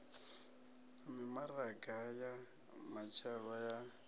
na mimaraga ya matshelo ya